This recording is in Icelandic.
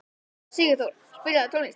Sigurþór, spilaðu tónlist.